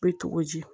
Bɛ cogo di